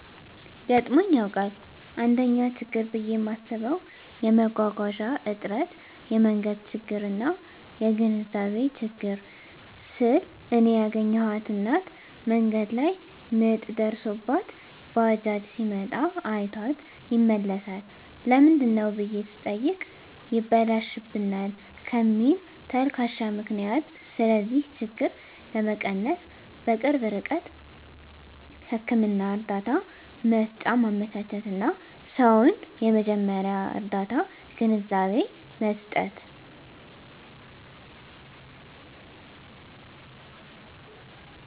ገጥሞኝ ያዉቃል: 1ኛ :ችግር ብየ ማስበዉ የመጓጓዣ እጥረት የመንገድ ችግርና : (የግንዛቤ ችግር) ስል እኔ ያገኘኋት እናት መንገድ ላይ ምጥ ደርሶባት ባጃጅ ሲመጣ አይቷት ይመለሳል ለምንድነው ብየ ስጠይቅ ይበላሽብናል ከሚል ተልካሻ ምክንያት ስለዚህ ችግር ለመቀነስ_በቅርብ ርቀት ህክምና እርዳታ መሰጫ ማመቻቸትና: ሰዉን የመጀመርያ ርዳታ ግንዛቤ መስጠት።